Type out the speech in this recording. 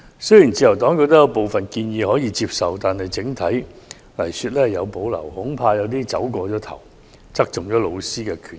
雖然自由黨認為部分建議可以接受，但整體而言則有所保留，恐怕會過分側重老師的權益。